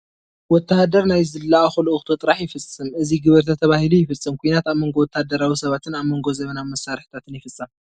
ወታሃደር ናይ ዝላኣኾ ልእኹቶ ጥራሕ ይፍፅም፡፡ እዚ ግበር ተተባሂሉ ይፍፅም፡፡ ኩናት ኣብ መንጎ ወታደራዊ ሰባትን ኣብ መንጎ ዘበናዊ መሳርሕታትን ይፍፀም፡፡